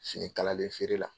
Fini kalalen feere la.